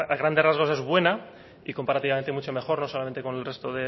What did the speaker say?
grada a grandes rasgos es buena y comparativamente mucho mejor no solamente con el resto